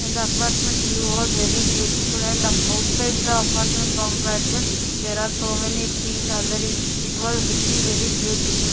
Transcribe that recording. and the apartment view was very beautiful and outside the apartment compartment there are so many trees are there it it was looking very beautiful.